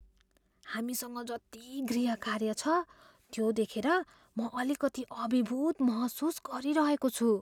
हामीसँग जति गृहकार्य छ त्यो देखेर म अलिकति अभिभूत महसुस गरिरहेको छु।